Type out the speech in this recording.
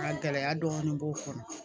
Nka gɛlɛya dɔɔnin b'o kɔnɔ